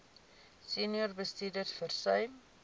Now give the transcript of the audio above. senior bestuurders versuim